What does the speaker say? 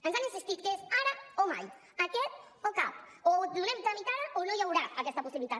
ens han insistit que és ara o mai aquest o cap o hi donem tràmit ara o no hi haurà aquesta possibilitat